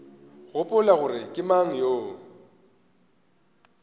gopola gore ke mang yo